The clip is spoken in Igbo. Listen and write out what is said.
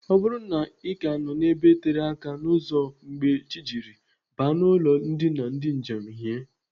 Ọ bụrụ na Ị ka nọ n'ebe tere aka n'ụzọ mgbe chi jiri, baa n'ụlọ ndina ndị njem hie.